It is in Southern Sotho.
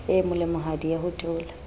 e molemohadi ya ho theola